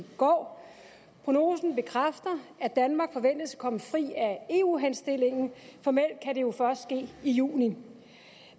går prognosen bekræfter at danmark forventes at komme fri af eu henstillingen formelt kan det jo først ske i juni